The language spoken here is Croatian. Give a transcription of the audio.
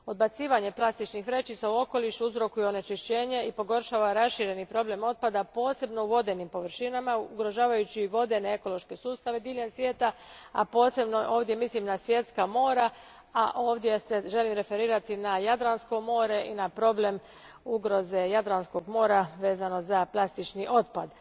Odbacivanje plastičnih vrećica u okoliš uzrokuje onečišćenje i pogoršava rašireni problem otpada, posebno u vodenim površinama ugrožavajući vodene ekološke sustave diljem svijeta, a posebno time mislim na svjetska mora, a ovdje se želim referirati na Jadransko more i na problem ugroze Jadranskog mora vezano za plastični otpad.